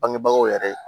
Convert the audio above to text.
Bangebagaw yɛrɛ ye